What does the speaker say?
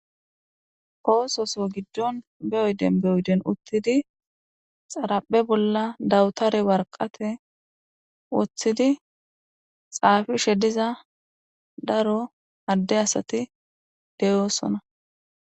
Koososo giddon be'oyden beoyden uttidi xaraphe bolla dawutare warqate woththidi xaafishe diza daro hadde asati deyoosona.